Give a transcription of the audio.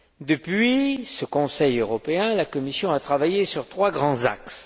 Depuis, la Commission a travaillé sur trois grands axes.